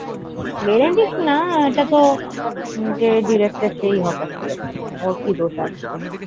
Benedict না এটাতো যে director সেই হতাশ করেছে। একই ব্যাপার।